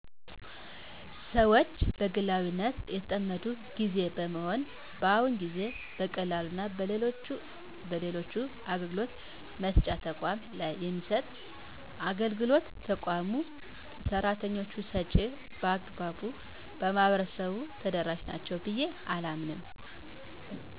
ሰወች በግላዊነት የተጠመዱበት ግዜ በመሆኑ በአሁኑ ግዜ በቀበሌና በሌሎች በሌሎች አገልግሎት መስጫ ተቋማት ላይ የሚሰጥ አገልግሎት ከተቋሙ ሰራተኞች ውጭ በአግባቡ ለማህበረሰቡ ተደረሻ ናቸው ብየ አላምንም።